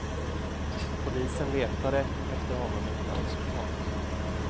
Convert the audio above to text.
Polisen letade efter honom utan resultat.